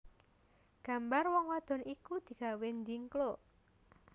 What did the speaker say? Gambar wong wadon iku digawé ndhingkluk